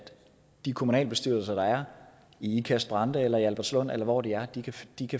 de kommunalbestyrelser der er i ikast brande eller i albertslund eller hvor det er